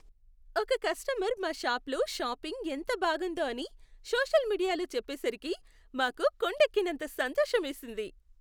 ఒక కస్టమర్ మా షాపులో షాపింగ్ ఎంత బాగుందో అని సోషల్ మీడియాలో చెప్పేసరికి మాకు కొండెక్కినంత సంతోషమేసింది.